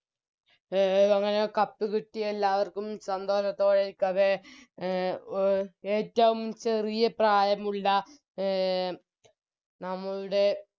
A അങ്ങനെ Cup കിട്ടി എല്ലാവർക്കും സന്തോഷത്തോടെയിരിക്കവേ ആ അഹ് ഏറ്റോം ചെറിയ പ്രായമുള്ള അഹ് നമ്മളുടെ